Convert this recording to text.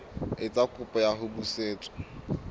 etsa kopo ya ho busetswa